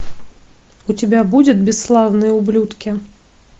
у тебя будет бесславные ублюдки